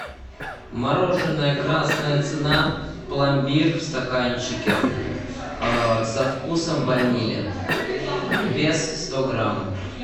мороженое красная цена пломбир в стаканчике со вкусом ванили вес сто грамм